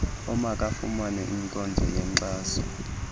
omakafumane inkonzo yenkxaso